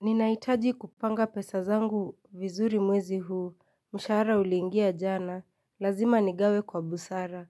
Ninaitaji kupanga pesa zangu vizuri mwezi huu Mshahara uliingia jana Lazima nigawe kwa busara